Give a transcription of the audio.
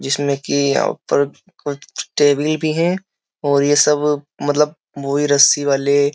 जिसमें कि यहां पर कुछ टेबल भी है और ये सब मतलब वही रस्सी वाले --